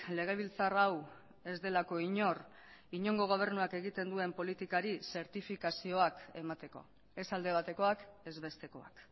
legebiltzar hau ez delako inor inongo gobernuak egiten duen politikari zertifikazioak emateko ez alde batekoak ez bestekoak